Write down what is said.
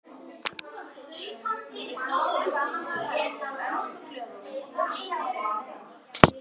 Tveir úrskurðaðir í gæsluvarðhald